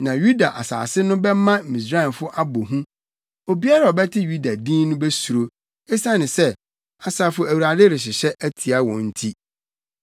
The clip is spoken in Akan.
Na Yuda asase no bɛma Misraimfo abɔ hu, obiara a ɔbɛte Yuda din no besuro, esiane nea Asafo Awurade rehyehyɛ atia wɔn nti.